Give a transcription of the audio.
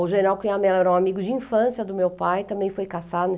O general Cunhamela era um amigo de infância do meu pai, também foi caçado